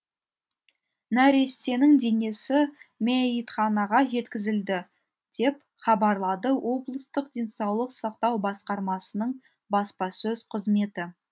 нәрестенің денесі мәйітханаға жеткізілді деп хабарлады облыстық денсаулық сақтау басқармасының баспасөз қызметі